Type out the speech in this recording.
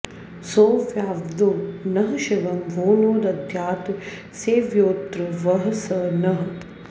सोऽव्याद्वो नः शिवं वो नो दद्यात् सेव्योऽत्र वः स नः